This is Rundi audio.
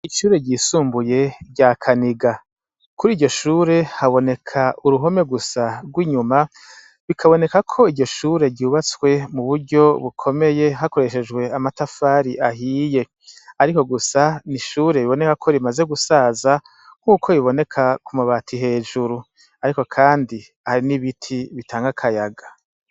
Ishure ry' isumbuye rya Kaniga, kuriryo shure habonek' uruhome gusa rw' inyuma bikaboneka k' iryoshure ryubatse muburyo bukomeye hakoreshejw' amatafar' ahiye, ariko gusa n' ishure riboneka ko rimaze gusaza nkuko biboneka kumabati hejuru, ariko kandi hari n' ibiti bitang' akayaga.